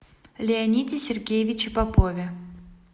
леониде сергеевиче попове